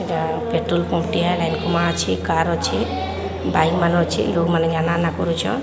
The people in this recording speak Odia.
ଇଟା ପେଟ୍ରୋଲ ପମ୍ପ ଟିଏ କାର ଅଛି ବାଇକ୍ ମାନେ ଅଛି। ଲୋକମାନେ ଆନା ଆନା କରୁଚନ।